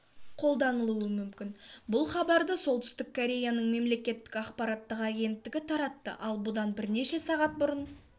қолданылуы мүмкін бұл хабарды солтүстік кореяның мемлекеттік ақпараттық агенттігі таратты ал бұдан бірнеше сағат бұрын